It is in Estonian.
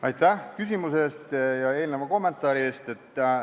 Aitäh küsimuse ja eelneva kommentaari eest!